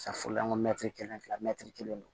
mɛtiri kelen fila mɛtiri kelen don